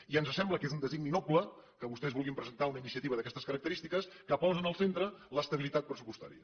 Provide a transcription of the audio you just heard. i ens sembla que és un designi noble que vostès vulguin presentar una iniciativa d’aquestes característiques que posen en el centre l’estabilitat pressupostària